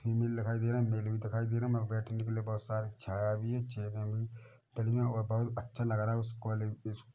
female दिखाई दे रहा है मेल भी दिखाई दे रहा है बैठने के लिए बहुत सारी छाया भी है बहुत अच्छा लग रहा है